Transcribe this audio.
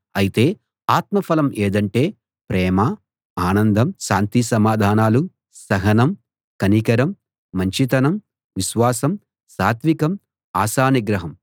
అయితే ఆత్మఫలం ఏదంటే ప్రేమ ఆనందం శాంతి సమాధానాలు సహనం కనికరం మంచితనం విశ్వాసం సాత్వికం ఆశానిగ్రహం